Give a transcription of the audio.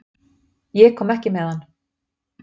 Ég kom ekki með hann.